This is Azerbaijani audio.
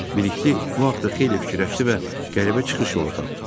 Bilikli bu haqda xeyli fikirləşdi və qəribə çıxış yolu tapdı.